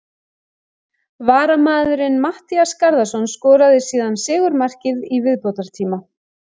Varamaðurinn Matthías Garðarsson skoraði síðan sigurmarkið í viðbótartíma.